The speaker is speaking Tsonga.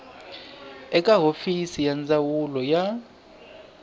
eka hofisi ya ndzawulo ya